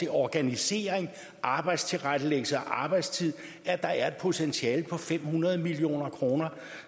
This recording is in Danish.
til organisering arbejdstilrettelæggelse og arbejdstid er der et potentiale på fem hundrede million kroner